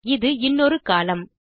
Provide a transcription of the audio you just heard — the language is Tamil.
இது இன்னொரு கோலம்ன்